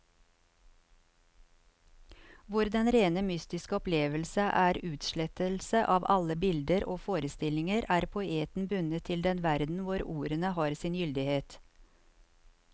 Hvor den rene mystiske opplevelse er utslettelse av alle bilder og forestillinger, er poeten bundet til den verden hvor ordene har sin gyldighet.